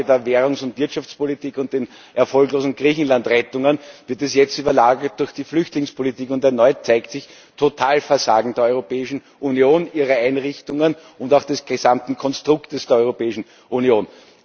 Nach der Frage der Währungs und Wirtschaftspolitik und den erfolglosen Griechenlandrettungen wird es jetzt überlagert durch die Flüchtlingspolitik. Und erneut zeigt sich Totalversagen der Europäischen Union, ihrer Einrichtungen und auch des gesamten Konstruktes der Europäischen Union.